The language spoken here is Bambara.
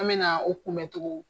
An bɛna o kunbɛncogo